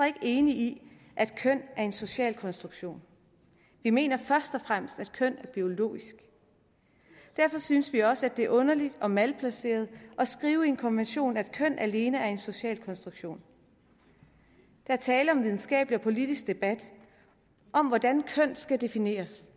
ikke enig i at køn er en social konstruktion vi mener først og fremmest at køn er biologisk og derfor synes vi også at det er underligt og malplaceret at skrive i en konvention at køn alene er en social konstruktion der er tale om en videnskabelig og politik debat om hvordan køn skal defineres